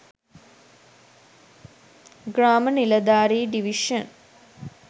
grama niladhari division